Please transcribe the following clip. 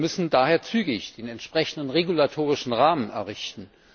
Wir müssen daher zügig den entsprechenden regulatorischen Rahmen errichten.